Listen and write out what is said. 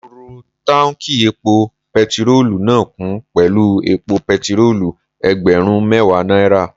Mo rọ táùnkì epo pẹtirólù náà kún pẹ̀lú epo pẹtirólù ẹgbẹ̀rún mẹ́ẹ̀wá náírà